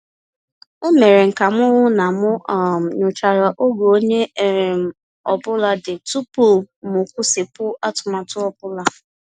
E mere m ka m hụ na m um nyochara oge onye um ọ bụla dị tupu m kwụsịpụ atụmatụ ọ bụla.